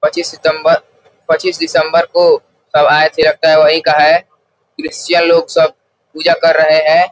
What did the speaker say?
पच्चीस सितम्बर पच्चीस दिसंबर को सब आये थे लगता वही का है। क्रिश्चियन लोग सब पूजा कर रहे है ।